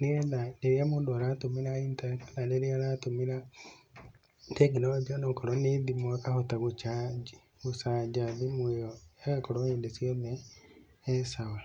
nĩgetha rĩrĩa mũndũ aratũmĩra intaneti kana rĩrĩa aratũmĩra tekinoronjĩ o nakorwo nĩ thimũ akahota gũ charge. Gũcaja thimũ ĩyo ĩgakorwo hĩndĩ ciothe e sawa.